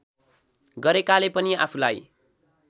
गरेकाले पनि आफूलाई